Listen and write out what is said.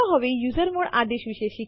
હવે આપણે સ્લાઇડ્સ પર પાછા જઈએ